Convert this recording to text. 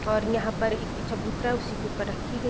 और यहाँ पर एक चबूतरा है उसी के पर रखी गई है |.